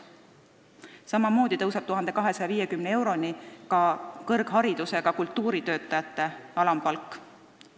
Samamoodi tõuseb 1250 euroni kõrgharidusega kultuuritöötaja alampalk.